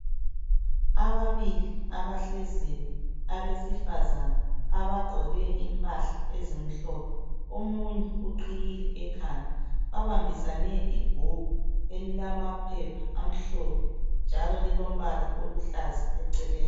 Ababili abahleziyo abesifazana abagqoke impahla ezimhlophe, omunye uqhiyile ekhanda babambisane ibhuku elilamaphepha amhlophe njalo lilombala oluhlaza eceleni.